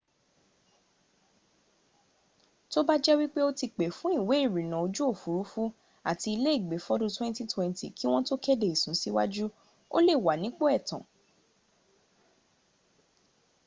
tó bá jẹ́ wípé o ti pè fún ìwé ìrìnnà ojú òfúrufú àti iléègbé fọ́dún 2020 kí wọ́n tó kéde ìsúnsíwájú o lè wà nípò ẹ̀tàn